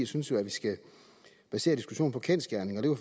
synes vi skal basere diskussionen på kendsgerninger